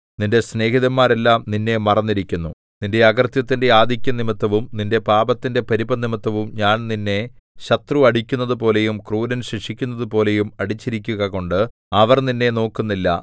നിന്റെ സ്നേഹിതന്മാരെല്ലാം നിന്നെ മറന്നിരിക്കുന്നു നിന്റെ അകൃത്യത്തിന്റെ ആധിക്യംനിമിത്തവും നിന്റെ പാപത്തിന്റെ പെരുപ്പംനിമിത്തവും ഞാൻ നിന്നെ ശത്രു അടിക്കുന്നതുപോലെയും ക്രൂരൻ ശിക്ഷിക്കുന്നതുപോലെയും അടിച്ചിരിക്കുകകൊണ്ട് അവർ നിന്നെ നോക്കുന്നില്ല